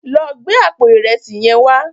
Lò gbé àpó irèsí yèn wá